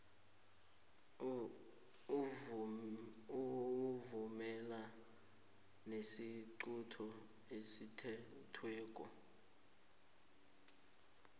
awuvumelani nesiqunto esithethweko